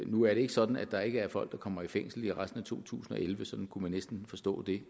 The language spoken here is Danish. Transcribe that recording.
nu er det ikke sådan at der ikke er folk der kommer i fængsel i resten af to tusind og elleve sådan kunne man næsten forstå det